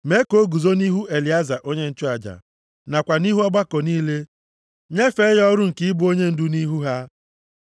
Mee ka o guzo nʼihu Elieza onye nchụaja, nakwa nʼihu ọgbakọ niile, nyefee ya ọrụ nke ịbụ onyendu nʼihu ha.